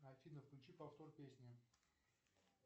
афина включи повтор песни